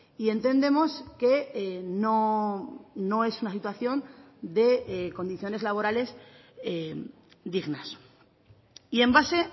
y entendemos que no es una situación de condiciones laborales dignas y en base